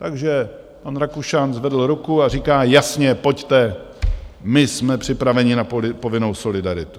Takže pan Rakušan zvedl ruku a říká: Jasně, pojďte, my jsme připraveni na povinnou solidaritu.